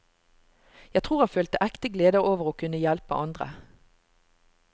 Jeg tror han følte ekte glede over å kunne hjelpe andre.